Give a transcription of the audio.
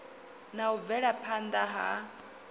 na u bvela phanda ha